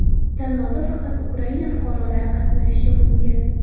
Tanlovda faqat Ukraina fuqarolari qatnashishi mumkin.